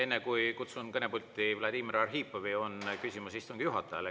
Enne kui kutsun kõnepulti Vladimir Arhipovi, on küsimus istungi juhatajale.